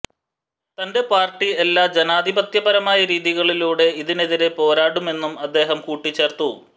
തന്റെ പാര്ട്ടി എല്ലാ ജനാധിപത്യപരമായ രീതികളിലുടെ ഇതിനെതിരേ പോരാടുമെന്നും അദ്ദേഹം കൂട്ടിചേര്ത്തു